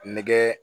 Nɛgɛ